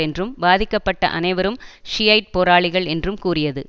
என்றும் பாதிக்கப்பட்ட அனைவரும் ஷியைட் போராளிகள் என்றும் கூறியது